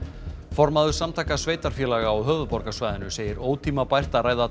formaður Samtaka sveitarfélaga á höfuðborgarsvæðinu segir ótímabært að ræða